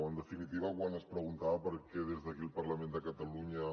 en definitiva quan es preguntava per què des d’aquí al parlament de catalunya